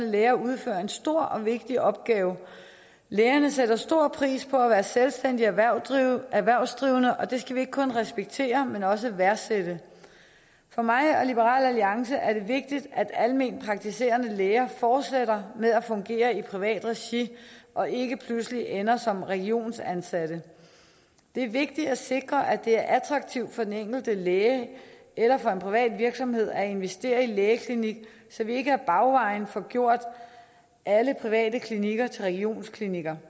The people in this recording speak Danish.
læger udfører en stor og vigtig opgave lægerne sætter stor pris på at være selvstændigt erhvervsdrivende erhvervsdrivende og det skal vi ikke kun respektere men også værdsætte for mig og liberal alliance er det vigtigt at almenpraktiserende læger fortsætter med at fungere i privat regi og ikke pludselig ender som regionsansatte det er vigtigt at sikre at det er attraktivt for den enkelte læge eller for en privat virksomhed at investere i en lægeklinik så vi ikke ad bagvejen får gjort alle private klinikker til regionsklinikker